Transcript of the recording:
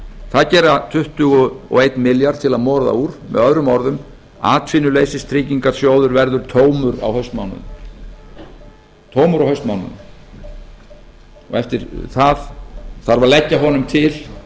það gera tuttugu og einn milljarð til að moða úr möo atvinnuleysistryggingasjóður verður tómur á haustmánuðum og eftir það þarf að leggja honum til